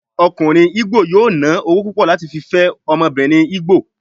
okunrin Igbo yóò ná ọwọ púpò láti fí fé ọmọbìnrin igbo